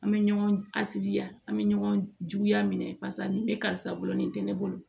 An bɛ ɲɔgɔn a sigi ya an bɛ ɲɔgɔn juguya minɛ paseke ne bolo